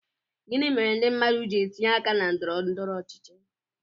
Gịnị mere ndị mmadụ ji etinye aka na ndọrọ ndọrọ ọchịchị